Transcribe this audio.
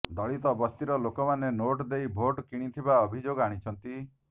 ଦଳିତ ବସ୍ତିର ଲୋକମାନେ ନୋଟ୍ ଦେଇ ଭୋଟ୍ କିଣିଥିବା ଅଭିଯୋଗ ଆଣିଛନ୍ତି